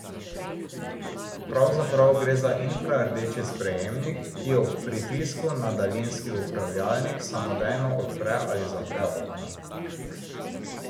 Pravzaprav gre za infrardeči sprejemnik, ki ob pritisku na daljinski upravljalnik samodejno odpre ali zapre okno.